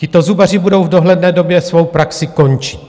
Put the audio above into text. Tito zubaři budou v dohledné době svou praxi končit.